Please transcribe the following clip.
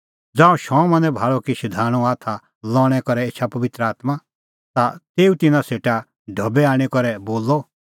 ज़ांऊं शमौनै भाल़अ कि शधाणूंए हाथा लाणैं करै एछा पबित्र आत्मां ता तेऊ तिन्नां सेटा ढबै आणी करै बोलअ